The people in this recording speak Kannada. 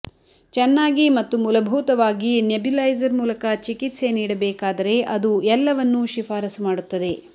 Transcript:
ಚೆನ್ನಾಗಿ ಮತ್ತು ಮೂಲಭೂತವಾಗಿ ನೆಬ್ಯುಲೈಸರ್ ಮೂಲಕ ಚಿಕಿತ್ಸೆ ನೀಡಬೇಕಾದರೆ ಅದು ಎಲ್ಲವನ್ನೂ ಶಿಫಾರಸು ಮಾಡುತ್ತದೆ